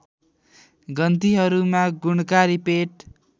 गन्थीहरूमा गुणकारी पेट